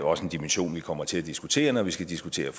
også en dimension vi kommer til at diskutere når vi skal diskutere